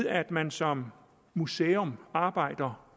at man som museum arbejder